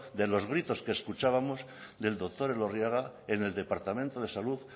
de los gritos que escuchábamos del doctor elorriaga en el departamento de salud